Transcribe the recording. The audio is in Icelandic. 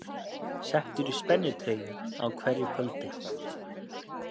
Settur í spennitreyju á hverju kvöldi